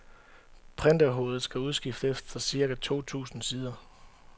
Printerhovedet skal udskiftes efter cirka to tusind sider.